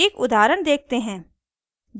एक उदाहरण देखते हैं